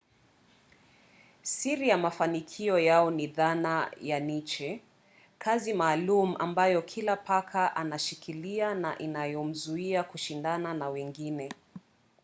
siri ya mafanikio yao ni dhana ya niche kazi maalum ambayo kila paka anashikilia na inayomzuia kushindana na wengine